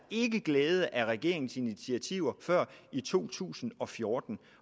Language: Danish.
ikke glæde af regeringens initiativer før i to tusind og fjorten